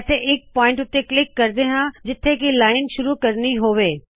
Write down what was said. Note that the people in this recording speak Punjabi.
ਕਿਸੇ ਇਕ ਪੁਆਇੰਟ ਉੱਤੇ ਕਲਿੱਕ ਕਰਦੇ ਹਾੰ ਜਿੱਥੋ ਕਿ ਲਾਇਨ ਸ਼ੁਰੁ ਕਰਣੀ ਹੋਵੇ